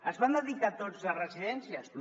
es van dedicar tots a residèn·cies no